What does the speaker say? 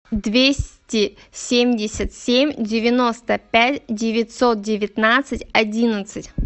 двести семьдесят семь девяносто пять девятьсот девятнадцать одиннадцать